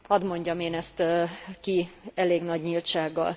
Hadd mondjam én ezt ki elég nagy nyíltsággal.